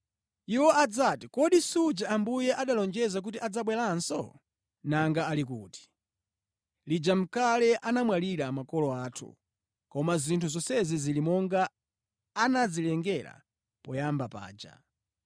Iwo adzati, “Kodi suja Ambuye analonjeza kuti adzabweranso? Nanga ali kuti? Lija nʼkale anamwalira makolo athu, koma zinthu zonse zili monga anazilengera poyamba paja.”